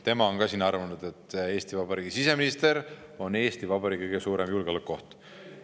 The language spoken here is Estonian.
Tema on ka siin arvanud, et Eesti Vabariigi siseminister on Eesti Vabariigi kõige suurem julgeolekuoht.